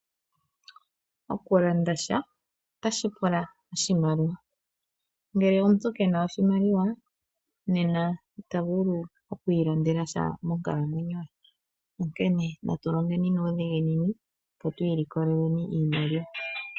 Oku landa sha otashi pula oshimaliwa. Ngele omuntu ke na oshimaliwa nena it's vulu oku ilandela sha monkalamwenyo ye. Nena natu longeni nuudhiginini opo twiilikoleleni iimaliwa.